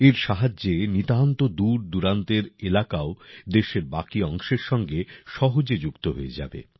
এর সাহায্যে নিতান্ত দূরদূরান্তের এলাকাও দেশের বাকি অংশের সঙ্গে সহজে যুক্ত হয়ে যাবে